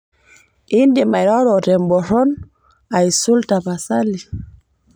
indim airoro temboron aisul tapasali